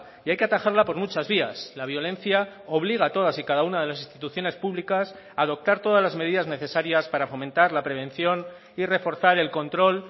y hay que atajarla por muchas vías la violencia obliga a todas y cada una de las instituciones públicas a adoptar todas las medidas necesarias para fomentar la prevención y reforzar el control